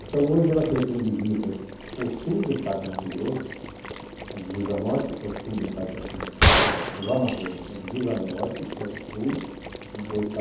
Então hoje ela tem como divisas o sul do estado de Mato Grosso, a divisa norte é o sul do estado do Amazonas, a divisa oeste é o sudeste de Rondônia.